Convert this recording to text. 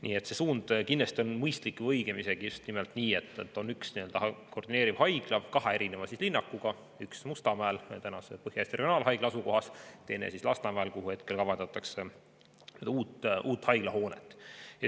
Nii et see suund on kindlasti mõistlik ja õigem on just nimelt nii, et on üks koordineeriv haigla kahe linnakuga, üks Mustamäel tänase Põhja-Eesti Regionaalhaigla asukohas ja teine Lasnamäel, kuhu kavandatakse uut haiglahoonet.